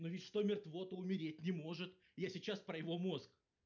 ну ведь что мертво то умереть не может я сейчас про его мозг